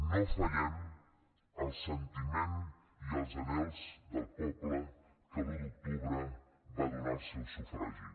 no fallem al sentiment i als anhels del poble que l’un d’octubre va donar el seu sufragi